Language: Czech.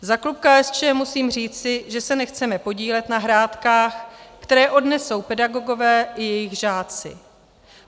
Za klub KSČM musím říci, že se nechceme podílet na hrátkách, které odnesou pedagogové i jejich žáci.